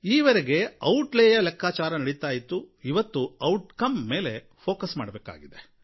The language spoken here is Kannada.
ಈ ವರೆಗೆ ಔಟ್ ಲೇ ಯ ಲೆಕ್ಕಾಚಾರ ನಡೀತಾ ಇತ್ತು ಇವತ್ತು ಔಟ್ ಕಮ್ ಮೇಲೆ ಫ಼ೋಕಸ್ ಮಾಡಬೇಕಾಗಿದೆ